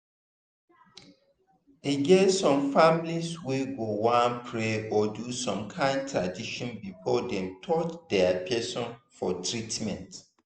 e get some families wey go wan pray or do some kind tradition before dem touch their person for treatment.